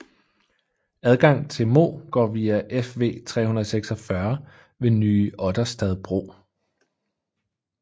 Adgang til Mo går via Fv 346 ved Nye Otterstad bro